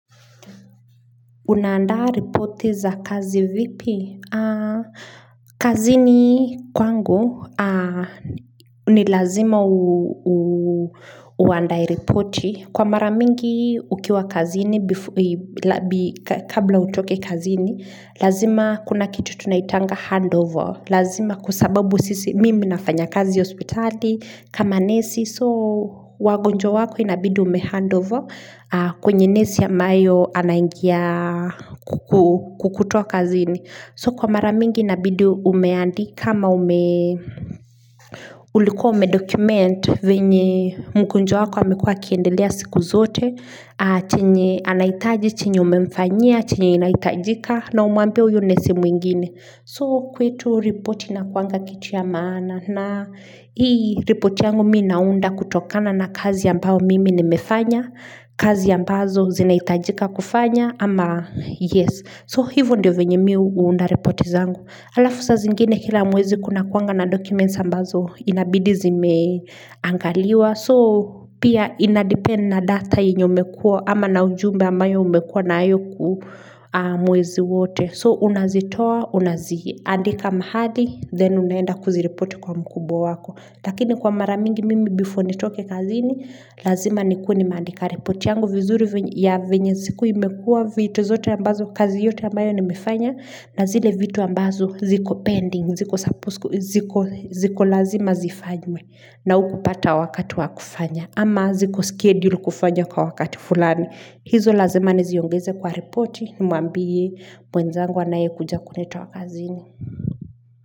Unaandaa ripoti za kazi vipi? Kazini kwangu ni lazima uandae ripoti. Kwa mara mingi ukiwa kazini kabla utoke kazini, lazima kuna kitu tunaitanga handover. Lazima kwa sababu mimi nafanya kazi hospitali kama nesi. So wagonjwa wako inabidi umehandover kwenye nesi ambayo anangia kukutoa kazini. So kwa mara mingi inabidi umeandika ama ulikuwa umedocument venye mgonjwa wako amekuwa akiendelea siku zote chenye anahitaji, chenye umemfanyia, chenye inahitajika na umwambie huyo nesi mwingine. So kwetu ripoti inakuwanga kitu ya maana na hii ripoti yangu mimi naunda kutokana na kazi ambao mimi nimefanya, kazi ambazo zinahitajika kufanya ama yes. So hivo ndio venye mimi uunda ripoti zangu. Alaf saa zingine kila mwezi kunakuwanga na documents ambazo inabidi zimeangaliwa. So pia inadepend na data enye imekuwa ama na ujumbe ambayo umekuwa nayo mwezi wote. So, unazitoa, unaziandika mahali, then unaenda kuziripoti kwa mkubwa wako. Lakini kwa mara mingi mimi before nitoke kazini, lazima nikuwe nimeandika ripoti yangu. Vizuri ya venye siku imekuwa, vitu zote ambazo, kazi yote ambayo nimefanya, na zile vitu ambazo ziko pending, ziko lazima zifanywe. Na hukupata wakati wakufanya, ama ziko scheduled kufanya kwa wakati fulani. Hizo lazima niziongeze kwa ripoti nimwambie mwenzangu anayekuja kunitoa kazini.